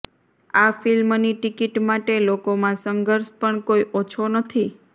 આ ફિલ્મની ટિકીટ માટે લોકોમાં સંઘર્ષ પણ કોઈ ઓછો નથી